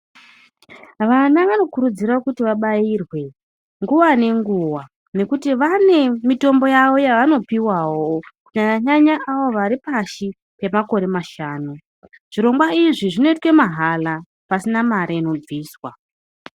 Vana vanokurudzirwa kuti vabairwe nguva nenguva nekuti vane mitombo yavo yavanopiwawo kunyanya nyanya avo vari pashi pemakore mashanu .Zvirongwa Izvi zvinoitwa mahala pasina mare inobviswa .